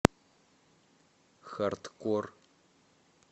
хардкор